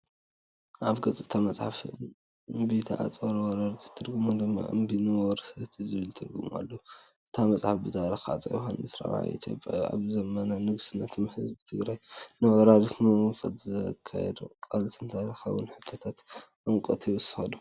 ኣብ ገጽ እታ መጽሓፍ፡ እምቢታ ኣንፃር ዋረርቲ፡ ትርጉሙ ድማ "እምቢ ንወረርቲ" ዝብል ትርጉም ኣለዎ። እታ መጽሓፍ ኣብ ታሪኽ ሃጸይ ዮውሃንስ ራብዓይ ኢትዮጵያን ኣብ ዘመነ ንግስነቶም ህዝቢ ትግራይ ንወራራት ንምምካት ዘካየዶ ቃልሲን ተርእይያ። ታሪኻዊ ትሕዝቶ ዕምቆት ይውስኸሉ።